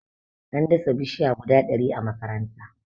an dasa bishiya guda ɗari a makaranta